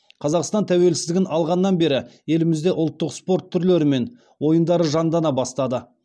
қазақстан тәуелсіздігін алғаннан бері елімізде ұлттық спорт түрлері мен ойындары жандана бастады